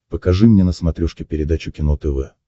покажи мне на смотрешке передачу кино тв